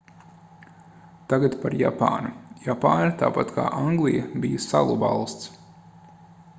tagad par japānu japāna tāpat kā anglija bija salu valsts